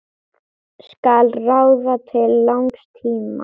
Skal ráða til langs tíma?